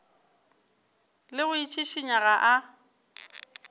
le go itšhišinya ga a